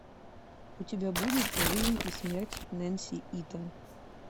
у тебя будет жизнь и смерть нэнси итон